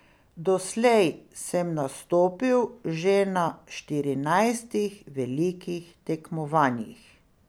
Doslej sem nastopil že na štirinajstih velikih tekmovanjih.